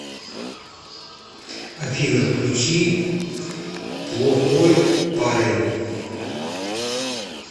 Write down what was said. афина включи плохойпарэн